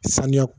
Saniya